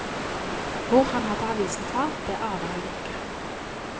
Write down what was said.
Hvor han hadde avisen fra, det aner hun ikke.